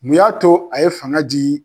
Mun y'a to a ye fanga di